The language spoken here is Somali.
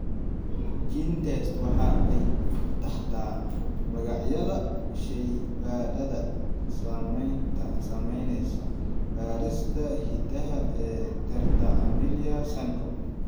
GeneTests waxa ay taxdaa magacyada shaybaadhada samaynaya baadhista hidaha ee tetra amelia syndrome.